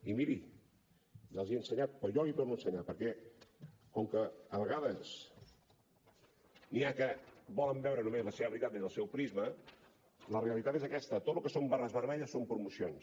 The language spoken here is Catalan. i miri ja els hi he ensenyat però jo l’hi torno a ensenyar perquè com que a vegades n’hi ha que volen veure només la seva veritat des del seu prisma la realitat és aquesta tot el que són barres vermelles són promocions